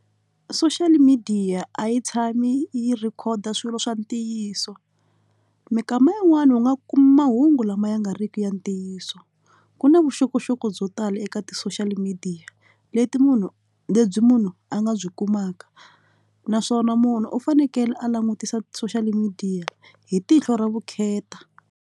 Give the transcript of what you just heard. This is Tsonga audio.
Social media a yi tshami yi rhekhoda swilo swa ntiyiso minkama yin'wani u nga kumi mahungu lama ya nga riki ya ntiyiso ku na vuxokoxoko byo tala eka ti social media leti munhu lebyi munhu a nga byi kumaka naswona munhu u fanekele a langutisa social media hi tihlo ra vukheta.